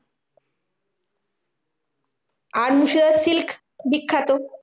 আর মুর্শিদাবাদে silk বিখ্যাত।